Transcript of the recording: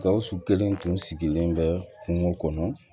Gawusu kelen tun sigilen bɛ kungo kɔnɔ